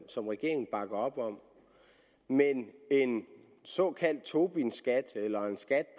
som regeringen bakker op om men en såkaldt tobinskat eller en skat